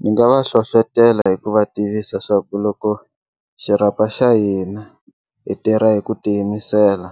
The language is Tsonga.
Ni nga va hlohlotela hi ku va tivisa swa ku loko xirhapa xa hina hi tirha hi ku tiyimisela